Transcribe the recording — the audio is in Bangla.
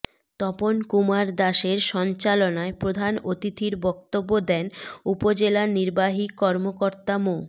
তপন কুমার দাসের সঞ্চালনায় প্রধান অতিথির বক্তব্য দেন উপজেলা নির্বাহী কর্মকর্তা মো